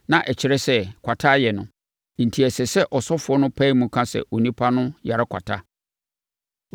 na ɛkyerɛ sɛ, kwata ayɛ no, enti ɛsɛ sɛ ɔsɔfoɔ no pae mu ka sɛ, onipa no yare kwata.